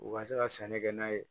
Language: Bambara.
U ka se ka sɛnɛ kɛ n'a ye